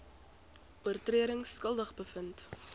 oortredings skuldig bevind